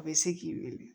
A bɛ se k'i weele